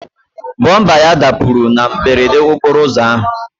Bọmba ya dapụrụ na mberede okporo ụzọ ahụ.